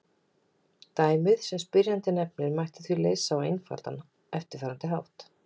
Dæmið sem spyrjandi nefnir mætti því leysa á eftirfarandi hátt.